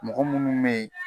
Mɔgɔ munnu be yen